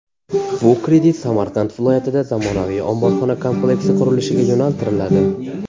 Bu kredit Samarqand viloyatida zamonaviy omborxona kompleksi qurilishiga yo‘naltiriladi.